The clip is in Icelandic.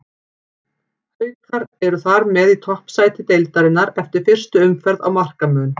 Haukar eru þar með í toppsæti deildarinnar eftir fyrstu umferð á markamun.